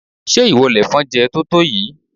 Ṣé ìwọ lèfọn jẹ totoyi?